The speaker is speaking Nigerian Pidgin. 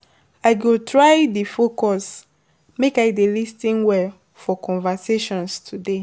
I go try dey focus, make I dey lis ten well for conversations today.